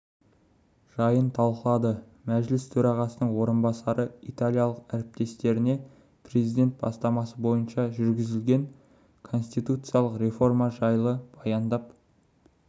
жайын талқылады мәжіліс төрағасының орынбасары италиялық әріптесіне президент бастамасы бойынша жүргізілген конституциялық реформа жайлы баяндап